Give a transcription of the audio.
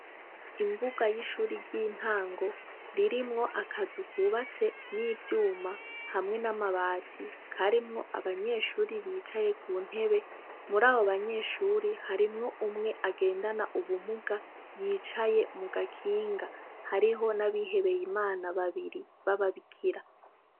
Imbuga y'ishuri ry'intango, ririmwo akazu kubatse n'ivyuma hamwe n'amabati ,karimwo abanyeshure bicaye kuntebe, murabo banyeshure harimwo umwe agendana ubumuga yicaye mugakinga, harimwo n'abihebeye Imana babiri baba bikira.